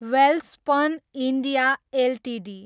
Welspun India Ltd